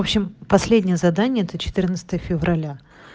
в общем последнее задание за февраля